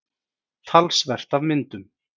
Talsvert af myndum.